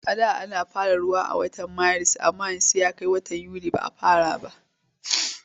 A da ana fara ruwa a watan Maris amma yanzu sai a kai watan Yuli ba a fara ruwa ba.